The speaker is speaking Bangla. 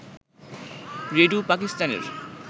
রেডিও পাকিস্তানের